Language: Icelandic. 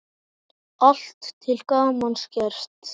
Allt til gamans gert.